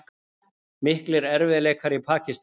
Miklir erfiðleikar í Pakistan